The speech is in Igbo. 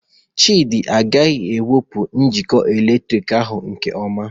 Chidi agaghị ewepu njikọ eletrik ahu nke ọma.